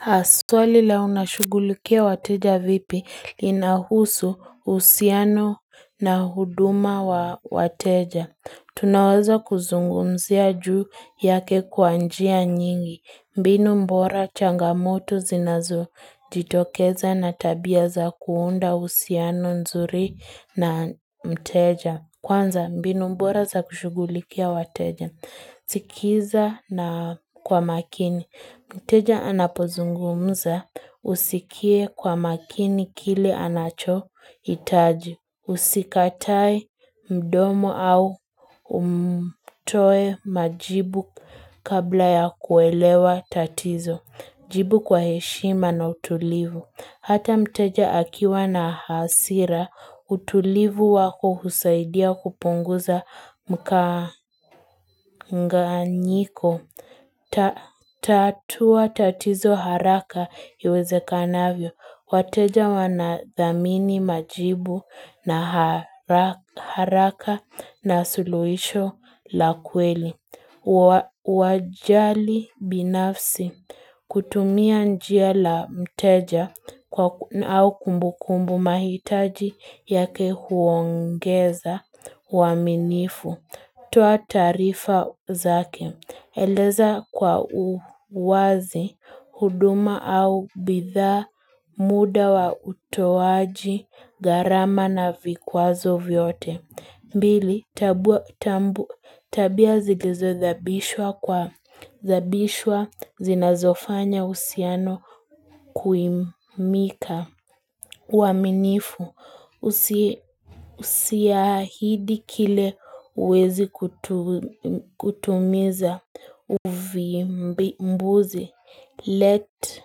Astwali leo nashugulikia wateja vipi linahusu usiano na huduma wa wateja. Hhh Tunawaza kuzungumzia juu yake kwanjia nyingi. Hhh mbinu mbora changamoto zinazo jitokeza na tabia za kuunda usiano nzuri na mteja. Kwanza mbinu mbora za kushugulikia wateja. Mm hhh Sikiza na kwa makini. Hhh Mteja anapozungumza usikie kwa makini kile anacho hitaji. Ukh Usikatae mdomo au umtoe majibu kabla ya kuelewa tatizo. Mhh Jibu kwa heshima na utulivu. Mhh Hata mteja akiwa na hasira hh utulivu wako husaidia kupunguza hhh mkanganyiko mhh Tatua tatizo haraka iwezekanavyo wateja wanadhamini majibu na hara haraka na suluhisho la kweli. Hh wa ukh Wajali binafsi hh kutumia njia la mteja hh kwa au kumbukumbu mahitaji yake huongeza mhh waminifu mhh toa taarifa zake Eleza kwa uwazi, huduma au bidha muda wa utowaji, hhh garama na vikwazo vyote mmhth mbili, tabua tambu tabia zilizo zabishwa kwa zabishwa zinazofanya usiano kuimika. Mhch ku waminifu usi usiahidi kile uwezi kutu kutumiza uvi mbuzi. Let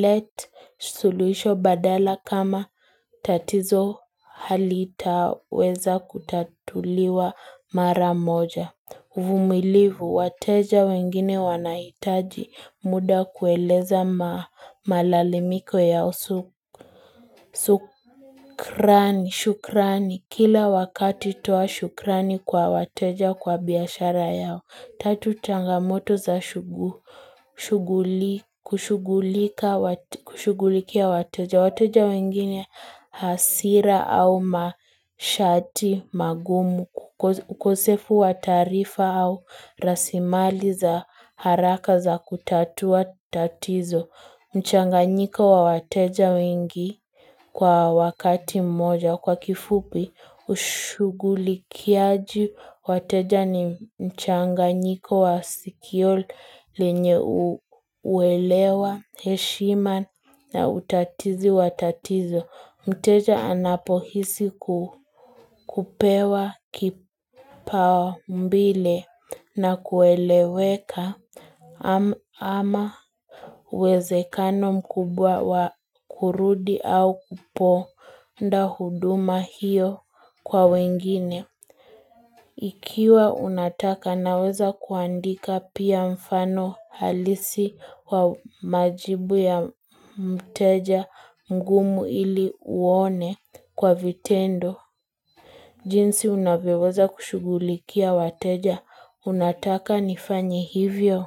Let suluhisho badala kama tatizo halitaweza kutatuliwa mara moja. Mhh uv Vumilivu, wateja wengine wanaitaji muda kueleza malalimiko ya usuk sukrani usukrani, shukrani, kila wakati toa shukrani kwa wateja kwa biashara yao.hhh Tatu changamoto za shugu shughuli kushugulika kushughulikia wateja. Wa wateja wengine hasira au mashati magumu. Kukosk ukosefu wa taarifa au rasimali za haraka za kutatua tatizo. Hhh mchanganyiko wa wateja wengi kwa wakati mmoja kwa kifupi ushugulikiaji. Hh wateja ni mchanganyiiko wa sikio lenyye uwelewa heshima na utatizi watatizo. Hhmk Mteja anapohisi kupewa kipao mbile na kueleweka ama ah ama uwezekano mkubwa wa kurudi au kuponda huduma hio kwa wengine. Mhh ik Ikiwa unataka naweza kuandika pia mfano halisi wa majibu ya mteja mgumu ili uone kwa vitendo. Hh nk jinsi unavyoweza kushugulikia wateja, unataka nifanye hivyo?